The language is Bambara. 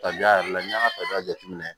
Kabiya yɛrɛ la n'i y'a ka tabiya jateminɛ